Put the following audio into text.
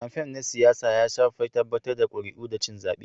kamfain na siyasa ya shafi tabbatar da ƙuri'u da cin zaɓe.